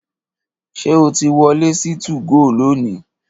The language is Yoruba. Ṣé o ti wọlé sí 2GO lónìí?